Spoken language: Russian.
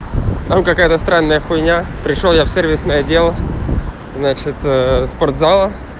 там какая-то странная хуйня пришёл я в сервисный отдел значит спортзал